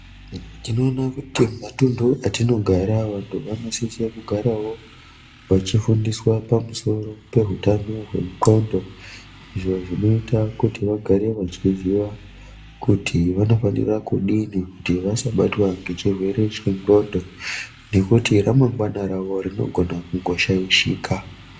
Tinoona kuti matundu atinogara, vantu vanosise kugarawo vachifundiswa pamusoro peutano wendxondo izvo zvinoita kuti vagare vachiziva kuti vanofanira kudini kuti vasabatwa ngechirwere chendxondo ngekuti ramangwana ravo rinogona kungoshaishika.